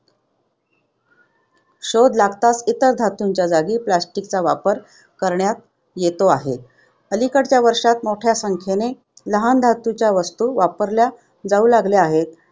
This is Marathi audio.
शोध लागताच इतर धातूंच्या जागी plastic चा वापर करण्यात येतो आहे. अलिकडच्या वर्षांत मोठ्या संख्येने लहान धातूच्या वस्तू वापरल्या जाऊ लागल्या आहेत.